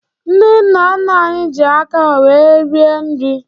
Ndị nna nna anyị ji aka ha wéé rie nri